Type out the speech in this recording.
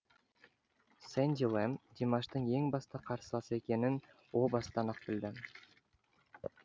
сэнди лэм димаштың ең басты қарсыласы екенін о бастан ақ білді